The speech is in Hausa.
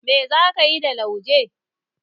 Mai za ka yi da lauje?